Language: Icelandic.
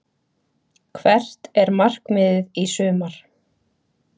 Hvert er markmiðið í sumar?